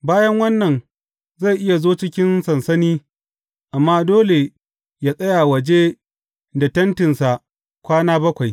Bayan wannan zai iya zo cikin sansani, amma dole yă tsaya waje da tentinsa kwana bakwai.